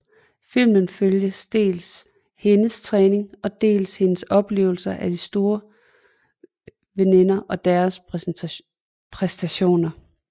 Filmen følger dels hendes træning og dels hendes oplevelser af de store veninder og deres præstationer